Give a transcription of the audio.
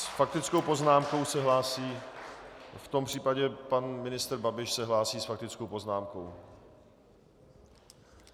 S faktickou poznámkou se hlásí - v tom případě pan ministr Babiš se hlásí s faktickou poznámkou.